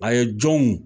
A ye jɔnw